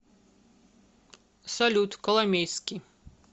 салют коломейский